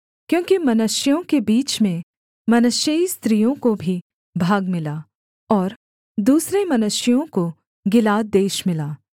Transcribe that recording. क्योंकि मनश्शेइयों के बीच में मनश्शेई स्त्रियों को भी भाग मिला और दूसरे मनश्शेइयों को गिलाद देश मिला